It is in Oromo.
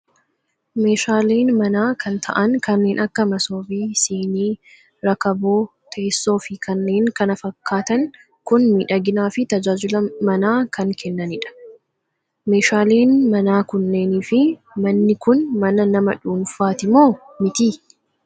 Meeshaaleen manaa kan ta'an kanneen akka masoobii, siinii, rakaboo teessoo fi kanneen kana fakkatan kun miidhaginaa fi tajaajila manaa kan kennanidha. Meeshaaleen mana kunneen fi manni kun mana nama dhuunfati moo miti?